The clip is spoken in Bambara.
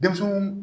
Denmisɛnw